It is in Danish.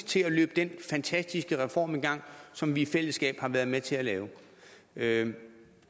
til at løbe den fantastiske reform i gang som vi i fællesskab har været med til at lave lave